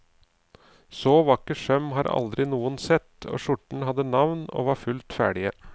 Så vakker søm hadde aldri noen sett, og skjortene hadde navn og var fullt ferdige.